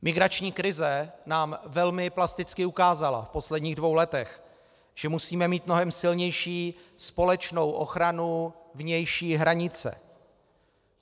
Migrační krize nám velmi plasticky ukázala v posledních dvou letech, že musíme mít mnohem silnější společnou ochranu vnější hranice.